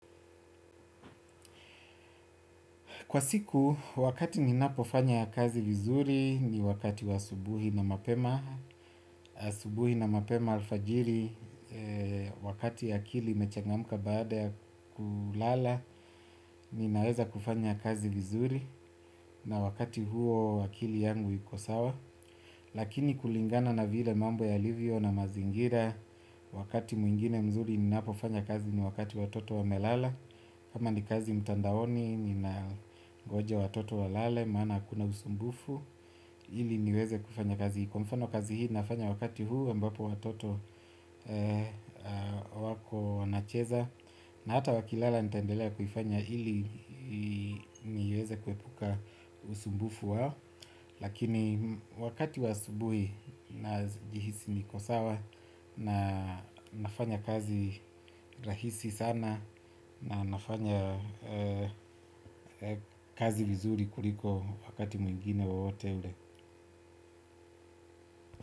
Kwa siku, wakati ninapofanya kazi vizuri ni wakati wa asubuhi na mapema. Asubuhi na mapema alfajiri, wakati akili imechangamka baada ya kulala, ninaweza kufanya kazi vizuri na wakati huo akili yangu iko sawa. Lakini kulingana na vile mambo yalivyo na mazingira, wakati mwingine mzuri ninapofanya kazi ni wakati watoto wamelala. Kama ni kazi mtandaoni, ninangoja watoto walale, maana hakuna usumbufu. Ili niweze kufanya kazi, kwa mfano kazi hii nafanya wakati huu ambapo watoto wako wanacheza. Na hata wakilala nitaendelea kuifanya ili niweze kuepuka usumbufu wao. Lakini wakati wa asubuhi najihisi niko sawa na nafanya kazi rahisi sana. Na nafanya kazi vizuri kuliko wakati mwingine wowote ule.